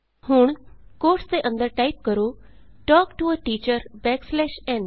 ਹੁਣ ਕੋਟਸ ਵਿਚ ਟਾਈਪ ਕਰੋ ਤਲਕ to a teacher backslash n